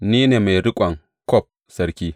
Ni ne mai riƙon kwaf sarki.